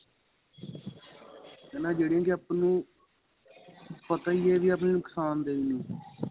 ਹੈਨਾ ਜਿਹੜੀਆਂ ਕਿ ਆਪਾਂ ਨੂੰ ਪਤਾ ਹੀ ਏਹ ਵੀ ਨੁਕਸ਼ਾਨ ਦੇਣ